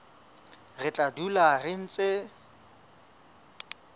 re tla dula re ntse